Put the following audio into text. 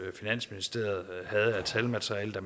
finansministeriet havde af talmateriale da